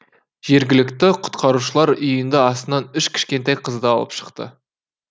жергілікті құтқарушылар үйінді астынан үш кішкентай қызды алып шықты